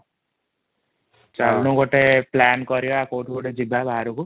ଚାଲୁନୁ ଗୋଟେ plan କରିବା କୋଉଠି ଗୋଟେ ଯିବା ବାହାରକୁ